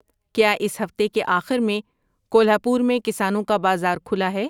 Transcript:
کیا اس ہفتے کے آخر میں کولہاپور میں کسانوں کا بازار کھلا ہے